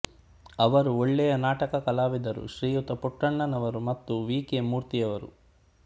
ಅವರು ಒಳ್ಳೆಯ ನಾಟಕ ಕಲಾವಿದರು ಶ್ರೀಯುತ ಪುಟ್ಟಣ್ಣನವರು ಮತ್ತು ವಿ ಕೆ ಮೂರ್ತಿಯವರು